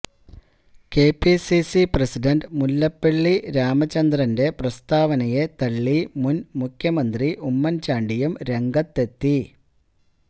KPCC president Mullappally രാമചന്ദ്രന്റെ പ്രസ്താവനയെ തള്ളി മുൻമുഖ്യമന്ത്രി ഉമ്മൻചാണ്ടിയും രംഗത്തെത്തി